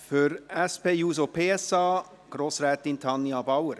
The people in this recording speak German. Für die SP-JUSO-PSA-Fraktion: Grossrätin Tanja Bauer.